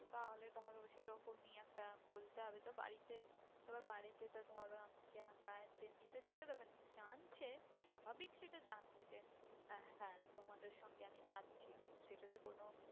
তাহলে ধরো সেরকমই একটা বলতে হবে তো বাড়িতে এবার বাড়িতে তো ধরো আমাকে একা ছেড়ে দেবে না। জানছে স্বাভাবিক সেটা জানবে যে আহ হ্যাঁ তোমাদের সঙ্গে আমি যাচ্ছি সেটাতে কোনো